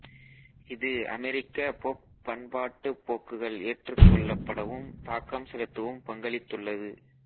இது அமெரிக்கப் பொப் பண்பாட்டுப் போக்குகள் ஏற்றுக்கொள்ளப்படவும் தாக்கம் செலுத்தவும் பங்களித்துள்ளது